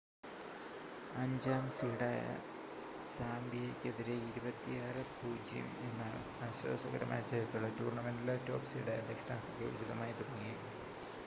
5-ാം സീഡായ സാമ്പിയയ്ക്കെതിരെ 26 - 00 എന്ന ആശ്വാസകരമായ ജയത്തോടെ ടൂർണ്ണമെൻ്റിലെ ടോപ് സീഡായ ദക്ഷിണാഫ്രിക്ക ഉചിതമായി തുടങ്ങി